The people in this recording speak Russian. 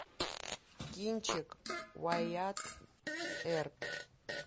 кинчик уайатт эрп